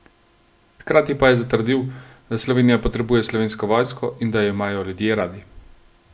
Hkrati pa je zatrdil, da Slovenija potrebuje Slovensko vojsko in da jo imajo ljudje radi.